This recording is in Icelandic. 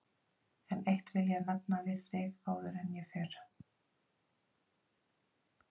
En eitt vil ég nefna við þig áður en ég fer.